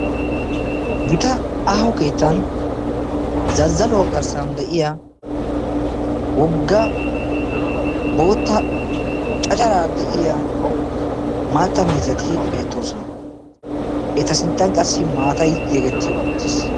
gitaa aaho keettan zazzaluwa garssan de'iyaa wogga boota caccaraara de'iyaa maatta miizati beettoosona. eta sinttan qassi maatay yegeti uttiis.